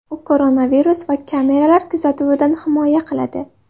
U koronavirus va kameralar kuzatuvidan himoya qiladi.